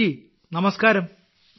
പ്രദീപ് നമസ്കാരം